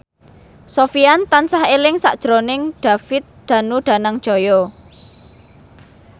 Sofyan tansah eling sakjroning David Danu Danangjaya